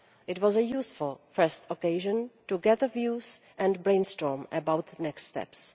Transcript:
It was a useful first occasion to gather views and brainstorm about the next steps.